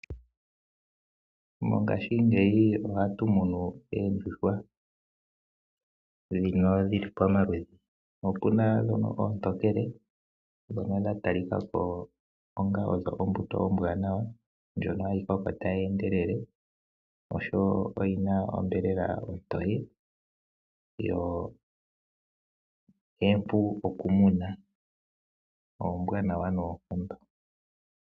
Mongaashingeyi ohatu munu oondjuhwa ndhono dhili pamaludhi, opuna ndhono oontokele ndhono dha tali ka ko onga odho ombuto ombwaanawa ndjono hayi koko tayi endelele oshowo oyina onyama ontoye, yo ompu okumuna. Oombwaanawa noonkondo.